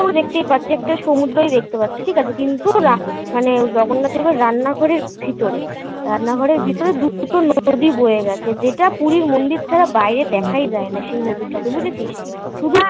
আমরা দেখতেই পাচ্ছি, একটা সমুদ্রই দেখতে পাচ্ছি. ঠিক আছে. কিন্তু মানে জগন্নাথ এবার রান্নাঘরের ভিতরে রান্নাঘরের ভিতরে দুটো নদী বয়ে গেছে. যেটা পুরীর মন্দির ছাড়া বাইরে দেখাই যায় না. সেই নদীর ঠাকুর. বুঝেছিস শুদু